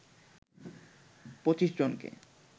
২৫ জনকে